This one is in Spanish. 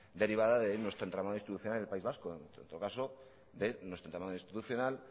derivada de nuestro entramado institucional en el país vasco en todo caso de nuestro entramado institucional